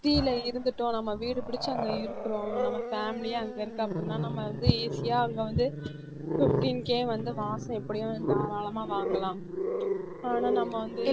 city இருந்துட்டோம் நம்ம வீடு புடிச்சு அங்க இருக்கிறோம் நம்ம family யே அங்க இருக்கு அப்படின்னா நம்ம வந்து easy ஆ அங்க வந்து fifteen K வந்து மாசம் எப்படியும் தாராளமா வாங்கலாம் ஆனா நம்ம வந்து